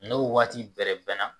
N'o waati bɛrɛ bɛnna